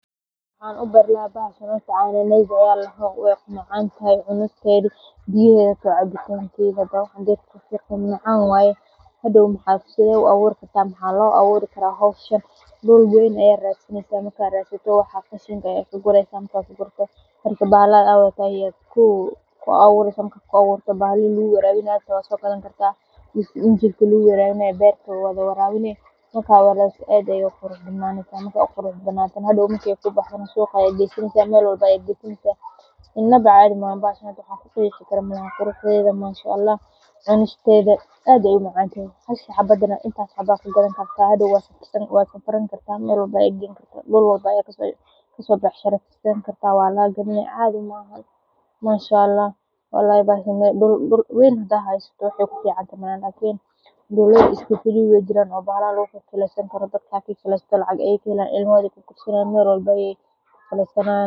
Maxan ubeera bahasha ladoho cana nasida wee macantahay biyaahedana macan waye, dul weyn aya radsaneysa bahalaha aa wadhato aya lagu abura, inaba cadhi maaha manshaallah dowlaada iska firiga ah ilmahoda ayey sisanayan.